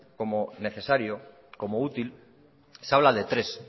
como necesario como útil se habla de tres